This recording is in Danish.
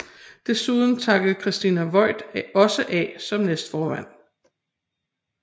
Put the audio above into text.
Desuden takkede Christina Voigt også af som næstformand